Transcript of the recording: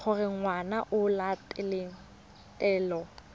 gore ngwana o latela taelo